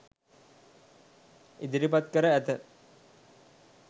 ඉදිරිපත් කර ඇත